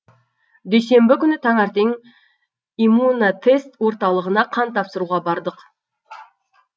дүйсенбі күні таңертең иммунотест орталығына қан тапсыруға бардық